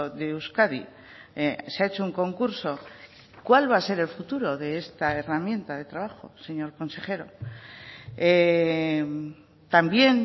de euskadi se ha hecho un concurso cuál va a ser el futuro de esta herramienta de trabajo señor consejero también